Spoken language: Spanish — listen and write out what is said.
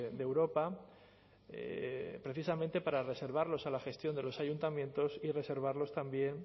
de europa precisamente para reservarlos a la gestión de los ayuntamientos y reservarlos también